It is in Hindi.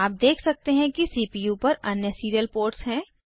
आप देख सकते हैं कि सीपीयू पर अन्य सीरियल पोर्ट्स हैं